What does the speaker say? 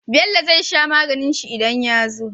Bello zai sha maganin shi idan ya zo